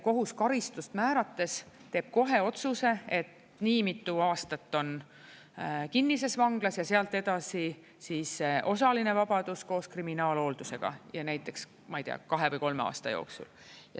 Kohus karistust määrates teeb kohe otsuse, et nii mitu aastat on kinnises vanglas, ja sealt edasi siis osaline vabadus koos kriminaalhooldusega, ja näiteks kahe või kolme aasta jooksul.